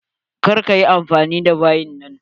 Kar ka yi anfani da bayin nan!